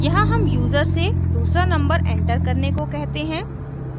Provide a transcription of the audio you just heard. यहाँ हम यूजर से दूसरा नंबर एंटर करने को कहते हैं